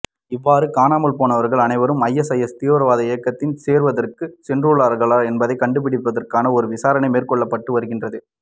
இவ்வாறு காணாமல்போனவர்கள் அனைவரும் ஐஎஸ்ஐஎஸ் தீவிரவாத இயக்கத்தில் சேர்வதற்கு சென்றுள்ளார்களா என்பதைக் கண்டுபிடிப்பதற்கு ஒரு விசாரணை மேற்கொள்ளப்பட்டு வருகின்றது